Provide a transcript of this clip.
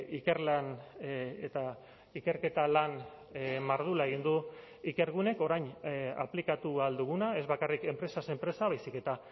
ikerlan eta ikerketa lan mardula egin du ikergunek orain aplikatu ahal duguna ez bakarrik enpresaz enpresa baizik eta